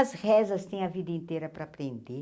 As rezas tem a vida inteira para aprender.